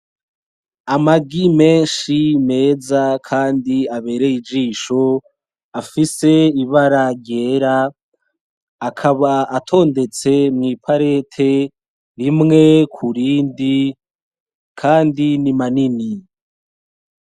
Amagi menshi meza kandi abereye ijisho, afise ibara ryera, akaba atondetse mw'iparete rimwe ku rindi; kandi ni manini.